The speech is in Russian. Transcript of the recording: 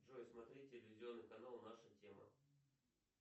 джой смотреть телевизионный канал наша тема